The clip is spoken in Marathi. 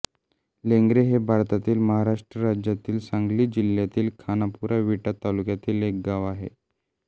लेंगरे हे भारतातील महाराष्ट्र राज्यातील सांगली जिल्ह्यातील खानापूर विटा तालुक्यातील एक गाव आहे